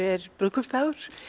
er brúðkaupsdagur